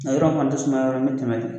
A yɔrɔ in fana tɛ sumaya yɔrɔ ye me tɛmɛ